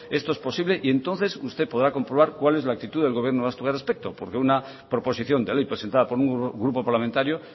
esto es posible y entonces usted podrá comprobar cuál es la actitud del gobierno vasco a este respecto porque una proposición de ley presentada por un grupo parlamentario